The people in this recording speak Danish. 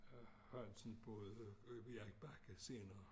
Hansen boede Erik Bakke senere